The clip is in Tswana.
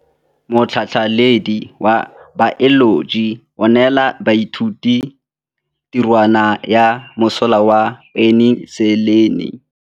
Motlhatlhaledi wa baeloji o neela baithuti tirwana ya mosola wa peniselene.